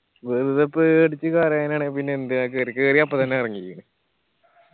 വെറുതെ പേടിച്ച് കരയാനാണേൽ പിന്നെ എന്തിനാ കേറി കേറിയപ്പം തന്നെ എറങ്ങിയില്ലേ